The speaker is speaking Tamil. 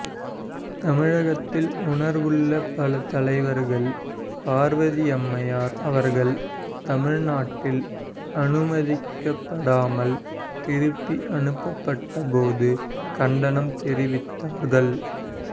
தமிழகத்தில் உணர்வுள்ள பல தலைவர்கள் பார்வதி அம்மையார் அவர்கள் தமிழ் நாட்டில் அனுமதிக்கப்படாமல் திருப்பி அனுப்பப்பட்டபோது கண்டனம் தெரிவித்தார்கள்